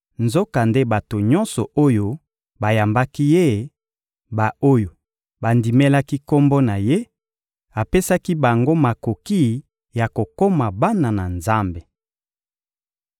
nzokande bato nyonso oyo bayambaki Ye, ba-oyo bandimelaki Kombo na Ye, apesaki bango makoki ya kokoma bana na Nzambe.